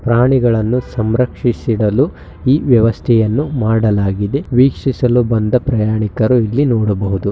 ಪ್ರಾಣಿಗಳನ್ನು ಸಂರಕ್ಷಿಸಿಡಲು ಈ ವ್ಯವಸ್ಥೆಯನ್ನು ಮಾಡಲಾಗಿದೆ ವೀಕ್ಷಿಸಲು ಬಂದ ಪ್ರಯಾಣಿಕರು ಇಲ್ಲಿ ನೋಡಬಹುದು .